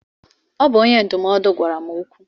Ọ bụ onye ndụmọdụ gwara m okwu.